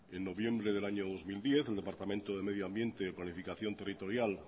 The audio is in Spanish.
en noviembre del año dos mil diez el departamento de medio ambiente planificación territorial